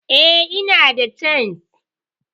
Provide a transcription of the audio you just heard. eh, inada chisel